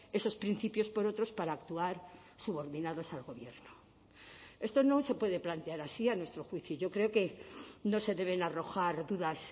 esos principios por otros para actuar subordinados al gobierno esto no se puede plantear así a nuestro juicio yo creo que no se deben arrojar dudas